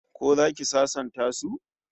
Ko zaki sasanta su?